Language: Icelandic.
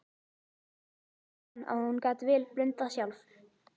Jóra fann að hún gat vel blundað sjálf.